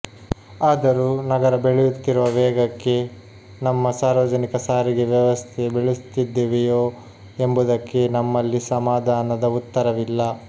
ಆದರೂ ನಗರ ಬೆಳೆಯುತ್ತಿರುವ ವೇಗಕ್ಕೆ ನಮ್ಮ ಸಾರ್ವಜನಿಕ ಸಾರಿಗೆ ವ್ಯವಸ್ಥೆ ಬೆಳೆಸುತ್ತಿದ್ದೇವೆಯೋ ಎಂಬುದಕ್ಕೆ ನಮ್ಮಲ್ಲಿ ಸಮಾಧಾನದ ಉತ್ತರವಿಲ್ಲ